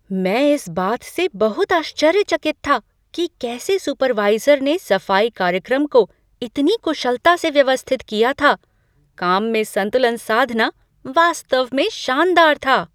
मैं इस बात से बहुत आश्चर्यचकित था कि कैसे सुपरवाइज़र ने सफाई कार्यक्रम को इतनी कुशलता से व्यवस्थित किया था! काम में संतुलन साधना वास्तव में शानदार था।